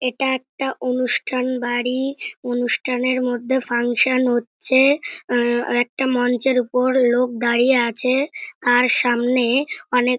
এটা একটা অনুষ্ঠান বাড়ি । অনুষ্ঠানের মধ্যে ফাংশন হচ্ছে আহ আরেকটা মঞ্চের ওপর লোক দাঁড়িয়ে আছে তার সামনে অনেক--